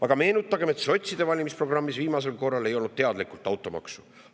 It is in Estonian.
Aga meenutagem, et sotside valimisprogrammis viimasel korral ei olnud teadlikult automaksu.